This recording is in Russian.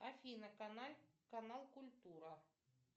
афина канал культура